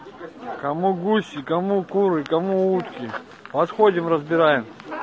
кому гуси кому куры кому утки подходим разбираем